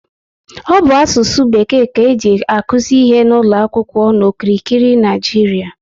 Ọ bụ asụsụ bekee ka eji akuzi ihe n'ụlọ akwụkwọ n'okirikiri Naịjiria